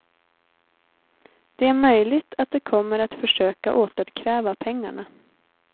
Det är möjligt att de kommer att försöka återkräva pengarna.